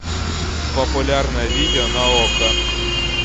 популярное видео на окко